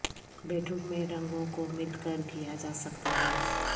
bedroom میں رنگوں کو مل کر کیا جا سکتا ہے